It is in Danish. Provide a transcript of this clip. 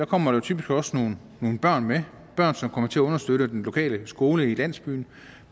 kommer der typisk også nogle børn med børn som kommer til at understøtte den lokale skole i landsbyen